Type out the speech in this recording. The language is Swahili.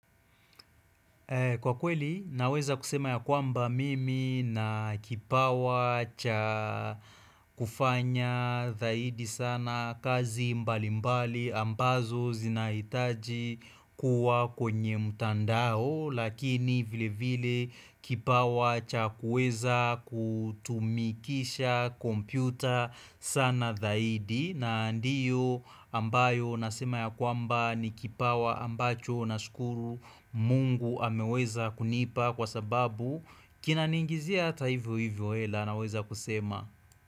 Kwa kweli naweza kusema ya kwamba mimi na kipawa cha kufanya zaidi sana kazi mbalimbali ambazo zinahitaji kuwa kwenye mtandao Lakini vile vile kipawa cha kuweza kutumikisha kompyuta sana zaidi na ndiyo ambayo nasema ya kwamba ni kipawa ambacho nashukuru mungu ameweza kunipa Kwa sababu kina niingizia ata hivyo hivyo hela naweza kusema.